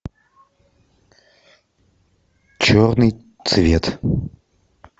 черный цвет